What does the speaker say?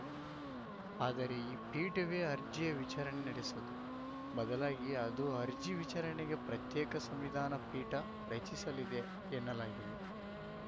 ಆದರೆ ಈ ಪೀಠವೇ ಅರ್ಜಿಯ ವಿಚಾರಣೆ ನಡೆಸದು ಬದಲಾಗಿ ಅದು ಅರ್ಜಿ ವಿಚಾರಣೆಗೆ ಪ್ರತ್ಯೇಕ ಸಂವಿಧಾನ ಪೀಠ ರಚಿಸಲಿದೆ ಎನ್ನಲಾಗಿದೆ